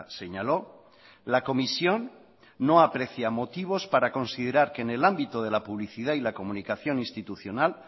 señaló la comisión no aprecia motivos para considerar que en el ámbito de la publicidad y la comunicación institucional